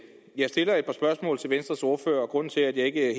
jeg stiller et par spørgsmål til venstres ordfører og grunden til at jeg ikke